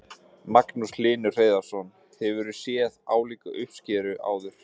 Magnús Hlynur Hreiðarsson: Hefurðu séð álíka uppskeru áður?